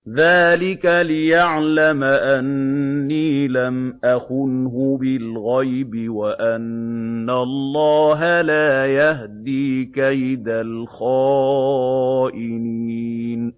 ذَٰلِكَ لِيَعْلَمَ أَنِّي لَمْ أَخُنْهُ بِالْغَيْبِ وَأَنَّ اللَّهَ لَا يَهْدِي كَيْدَ الْخَائِنِينَ